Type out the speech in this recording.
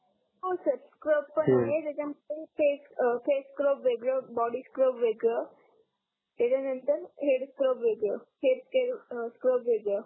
हो sir scrub पण आहे हो त्याच्या मध्ये फेस स्क्रब वेगळ बॉडी स्क्रब वेगळ त्याच्या नंतर हेड स्क्रब वेगळ हेयर स्क्रब वेगळ